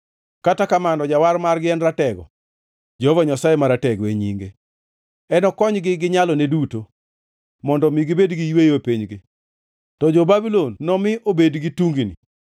Kata kamano Jawar margi en ratego; Jehova Nyasaye Maratego e nyinge. Enokonygi gi nyalone duto mondo omi gibed gi yweyo e pinygi; to jo-Babulon nomi obed gi tungni.”